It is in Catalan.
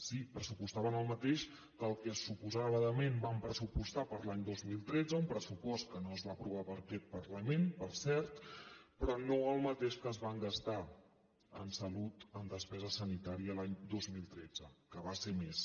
sí pressupostaven el mateix que el que suposadament van pressupostar per a l’any dos mil tretze un pressupost que no es va aprovar per aquest parlament per cert però no el mateix que es van gastar en salut en despesa sanitària l’any dos mil tretze que va ser més